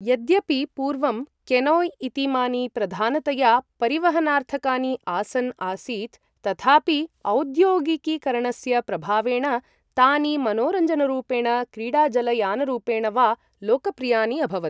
यद्यपि पूर्वं केनोय् इतीमानि प्रधानतया परिवहनार्थकानि आसन् आसीत् तथापि औद्योगिकीकरणस्य प्रभावेण तानि मनोरञ्जनरूपेण क्रीडाजलयानरूपेण वा लोकप्रियानि अभवत्।